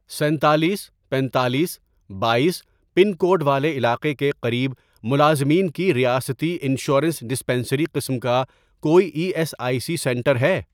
سینتالیس، پینتالیس، بایس، پن کوڈ والے علاقے کے قریب ملازمین کی ریاستی انشورنس ڈسپنسری قسم کا کوئی E S I C centre ہے؟